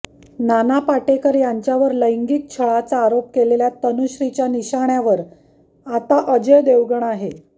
नाना पाटेकर यांच्यावर लैगिंक छळाचा आरोप केलेल्या तनुश्रीच्या निशाण्यावर आता अजय देवगण आहे